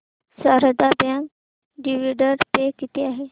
Sharda bank dividend pay किती आहे